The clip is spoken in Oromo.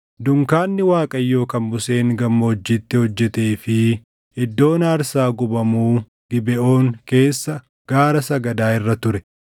Dunkaanni Waaqayyoo kan Museen gammoojjiitti hojjetee fi iddoon aarsaa gubamuu Gibeʼoon keessa gaara sagadaa irra ture.